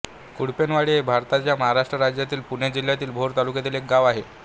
कुडपणेवाडी हे भारताच्या महाराष्ट्र राज्यातील पुणे जिल्ह्यातील भोर तालुक्यातील एक गाव आहे